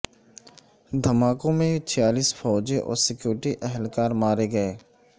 دھماکوں میں چھیالیس فوجی اور سکیورٹی اہلکار مارے گئے